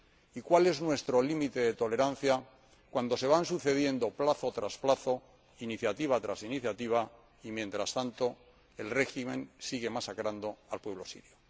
y ¿cuál es nuestro límite de tolerancia cuando se van sucediendo plazo tras plazo, iniciativa tras iniciativa y, mientras tanto, el régimen sigue masacrando al pueblo sirio?